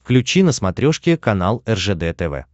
включи на смотрешке канал ржд тв